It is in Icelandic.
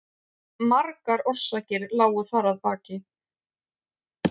Margar orsakir lágu þar að baki.